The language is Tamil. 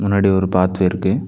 முன்னாடி ஒரு பாத்வே இருக்கு .